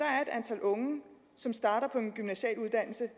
antal unge som starter på en gymnasial uddannelse